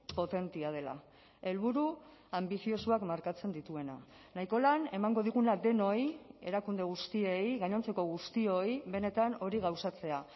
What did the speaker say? potentea dela helburu anbiziosoak markatzen dituena nahiko lan emango diguna denoi erakunde guztiei gainontzeko guztioi benetan hori gauzatzea